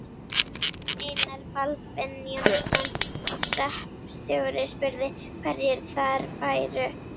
Einar Baldvin Jónsson hreppstjóri, spurði, hverjir þar færu.